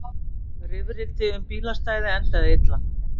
Rifrildi um bílastæði endaði illa